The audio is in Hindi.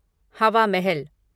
हवा महल